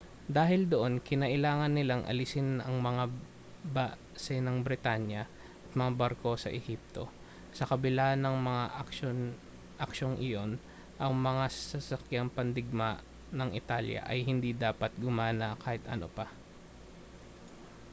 dahil doon kinailangan nilang alisin ang mga base ng britanya at mga barko sa ehipto sa kabila ng mga aksyong iyon ang mga sasakyang pandigma ng italya ay hindi dapat gumawa ng kahit ano pa